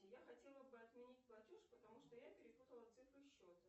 я хотела бы отменить платеж потому что я перепутала цифры счета